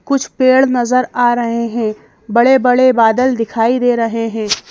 कुछ पेड़ नजर आ रहे हैं बड़े-बड़े बादल दिखाई दे रहे हैं।